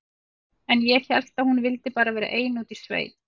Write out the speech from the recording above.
En ég hélt að hún vildi bara vera ein úti í sveit.